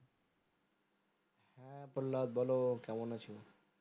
পল্লাদ বলো কেমন আছো